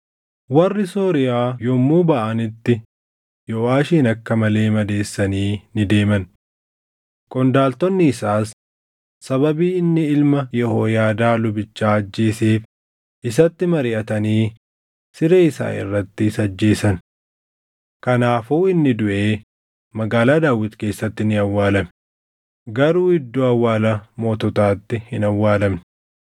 Warri Sooriyaa yommuu baʼanitti Yooʼaashin akka malee madeessanii ni deeman. Qondaaltonni isaas sababii inni ilma Yehooyaadaa lubichaa ajjeeseef isatti mariʼatanii siree isaa irratti isa ajjeesan. Kanaafuu inni duʼee Magaalaa Daawit keessatti ni awwaalame; garuu iddoo awwaala moototaatti hin awwaalamne.